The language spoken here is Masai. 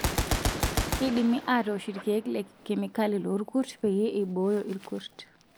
Keidimi atoosh irkiek lekemikali loorkurt peyie eibooyo irkurt.